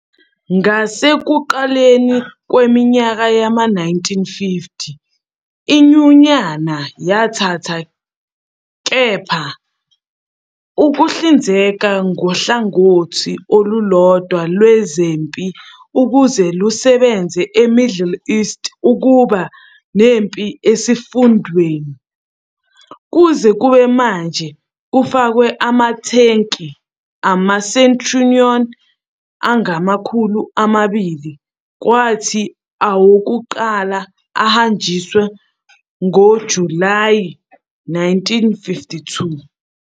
Ngasekuqaleni kweminyaka yama-1950 iNyunyana yathatha, kepha, ukuhlinzeka ngohlangothi olulodwa lwezempi ukuze lusebenze eMiddle East uma kuba nempi esifundeni. Kuze kube manje kufakwa ama-tanki ama-Centurion angamakhulu amabili, kwathi awokuqala ahanjiswa ngoJulayi 1952.